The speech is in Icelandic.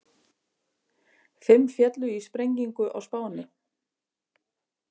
Fimm féllu í sprengingu á Spáni